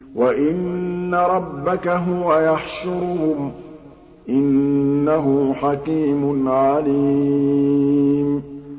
وَإِنَّ رَبَّكَ هُوَ يَحْشُرُهُمْ ۚ إِنَّهُ حَكِيمٌ عَلِيمٌ